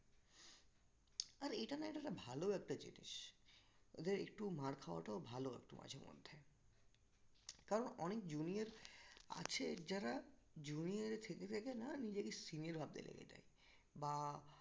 আর এটা না এটা একটা ভালোও একটা জিনিস ওদের একটু মার খাওয়াটাও ভালো একটু মাঝে মধ্যে কারণ অনেক junior আছে যারা junior এ থেকে থেকে না নিজেকে senior ভাবতে লেগে যায় বা